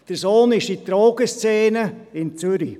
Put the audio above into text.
Der Sohn ist in der Drogenszene in Zürich.